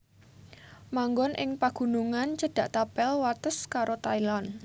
Manggon ing pagunungan cedhak tapel wates karo Thailand